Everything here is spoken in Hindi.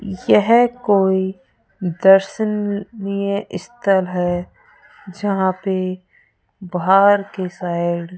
यह कोई दर्शनीय स्थल है जहाँ पे बाहर के साइड --